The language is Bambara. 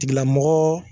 Tigilamɔgɔ